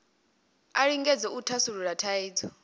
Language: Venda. a lingedze u thasulula thaidzo